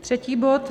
Třetí bod.